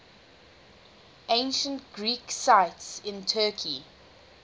ancient greek sites in turkey